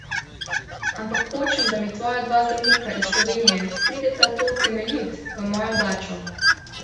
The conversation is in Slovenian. Ampak hočem, da mi tvoja dva zdravnika iz Slovenije prideta to utemeljit v mojo dačo.